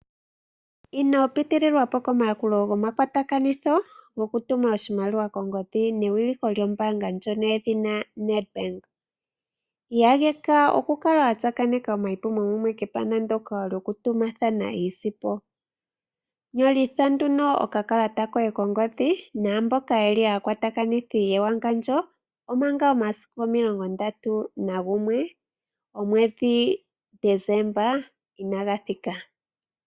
Inopitililwa komayakulo gomakwatakanitho goku tuma oshimaliwa kongodhi newiliko lyombaanga ndjono yedhina Nedbank. Iyageka oku kala wa tsakaneka omayipumo mumwe kepandja ndyoka lyoku tumathana iisimpo, nyolitha nduno oka kalata koye kongodhi naamboka yeli aakwatakanithi yewangandjo omanga omasiku 31 Deseemba inaaga thika.